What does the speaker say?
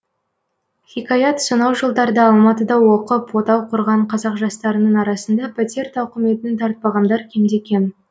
хикаят сонау жылдарда алматыда оқып отау құрған қазақ жастарының арасында пәтер тауқыметін тартпағандар кемде кем